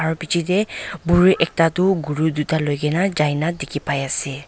aro pichaetae buri ekta tu guru tuita loikae na jailae dikhipaiase.